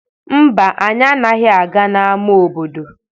Mba, anyị anaghị aga n'ama obodo